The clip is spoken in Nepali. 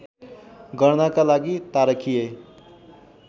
गर्नका लागि तारकीय